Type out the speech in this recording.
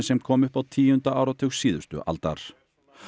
sem kom upp á tíunda áratug síðustu aldar